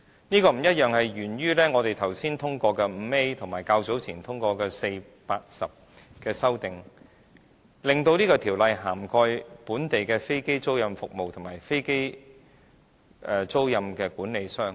這個不同沿於我們剛才通過的第 5A 條及較早前通過的第4、8及10條修正案，令《條例草案》涵蓋本地的飛機租賃服務及飛機租賃管理商。